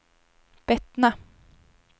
Bettna